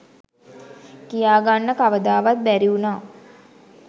කියා ගන්න කවදාවත් බැරි උනා.